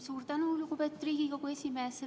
Suur tänu, lugupeetud Riigikogu esimees!